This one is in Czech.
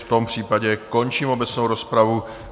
V tom případě končím obecnou rozpravu.